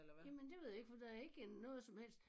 Jamen det ved jeg ikke for der ikke noget som helst